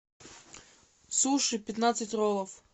суши пятнадцать роллов